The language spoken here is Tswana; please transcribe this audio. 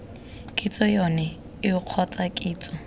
kitso yone eo kgotsa kitso